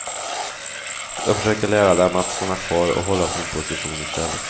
Jag försöker lära dem att stanna kvar och hålla sin position i stället.